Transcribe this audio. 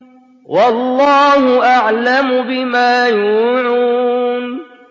وَاللَّهُ أَعْلَمُ بِمَا يُوعُونَ